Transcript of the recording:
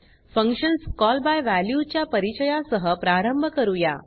functions call by value च्या परिचया सह प्रारंभ करूया